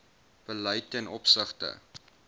beleid ten opsigte